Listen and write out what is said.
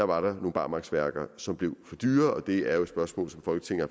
var nogle barmarksværker som blev for dyre det er jo et spørgsmål som folketinget